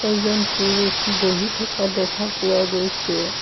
এজন পুৰুষ বহি থকা দেখা পোৱা গৈছে।